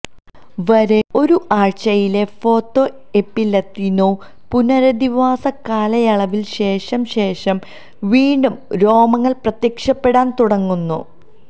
വരെ ഒരു ആഴ്ചയിലെ ഫൊതൊഎപിലതിഒന് പുനരധിവാസ കാലയളവിൽ ശേഷം ശേഷം വീണ്ടും രോമങ്ങൾ പ്രത്യക്ഷപ്പെടാൻ തുടങ്ങുന്നു